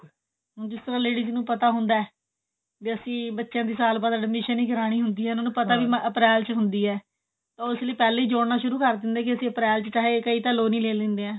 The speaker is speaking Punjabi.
ਹੁਣ ਜਿਸ ਤਰ੍ਹਾਂ ladies ਨੂੰ ਪਤਾ ਹੁੰਦਾ ਵੀ ਅਸੀਂ ਬੱਚਿਆ ਦੀ ਸਾਲ ਬਾਅਦ admission ਵੀ ਕਰਵਾਉਣੀ ਹੁੰਦੀ ਹੈ ਉਹਨਾਂ ਨੂੰ ਪਤਾ ਹੈ ਵੀ ਅਪ੍ਰੈਲ ਚ ਹੁੰਦੀ ਹੈ ਤਾਂ ਉਹ ਇਸਲਈ ਪਹਿਲਾਂ ਹੀ ਜੋੜਨਾ ਸ਼ੁਰੂ ਕਰ ਦਿੰਦੇ ਨੇ ਕਿ ਅਸੀਂ ਅਪ੍ਰੈਲ ਚ ਚਾਹੇ ਕਈ ਤਾਂ ਲੋਨ ਹੀ ਲੇ ਲਿੰਦੇ ਐ